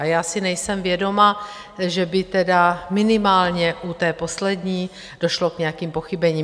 A já si nejsem vědoma, že by tedy minimálně u té poslední došlo k nějakým pochybením.